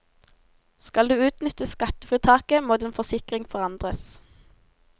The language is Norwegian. Skal du utnytte skattefritaket, må din forsikring forandres.